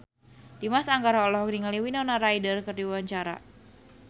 Dimas Anggara olohok ningali Winona Ryder keur diwawancara